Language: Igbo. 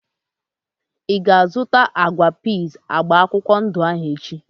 Ịga azụta agwa piiz agba akwụkwọ ndụ ahu echi?